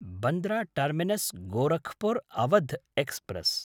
Bandra टर्मिनस्–गोरखपुर् Awadh express